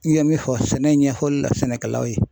N ye min fɔ sɛnɛ ɲɛfɔli la sɛnɛkɛlaw ye